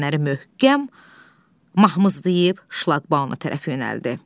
Qara Nərəni möhkəm mahmızlayıb şlaqbauma tərəf yönəldi.